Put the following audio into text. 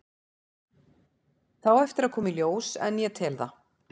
Það á eftir að koma í ljós en ég tel það.